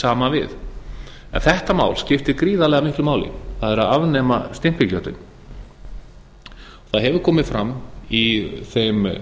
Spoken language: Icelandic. saman við þetta mál skiptir gríðarlega miklu máli hvað afnema stimpilgjöldin það hefur komið fram í þeim